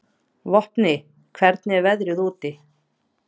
Vopni, hvernig er veðrið úti?